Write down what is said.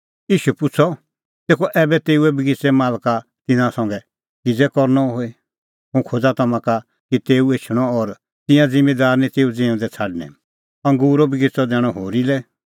ईशू पुछ़अ तेखअ ऐबै तेऊ बगिच़ेए मालका तिन्नां संघै किज़ै करनअ होए हुंह खोज़ा तम्हां का कि तेऊ एछणअ और तिंयां ज़िम्मींदार निं तेऊ ज़िऊंदै छ़ाडणैं अंगूरो बगिच़अ दैणअ होरी लै